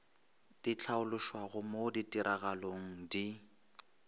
di hlaološwago mo ditiragalong di